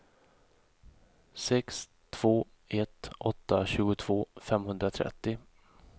sex två ett åtta tjugotvå femhundratrettio